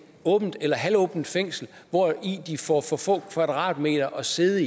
åbent eller halvåbent fængsel hvor de får for få kvadratmeter at sidde